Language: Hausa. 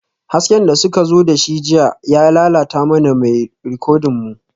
Hasken da suka zo da shi jiya ya lalata mana mai rikodin mu